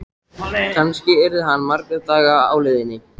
Kannski yrði hann marga daga á leiðinni.